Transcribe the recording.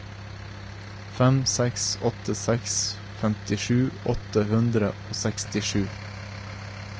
fem seks åtte seks femtisju åtte hundre og sekstisju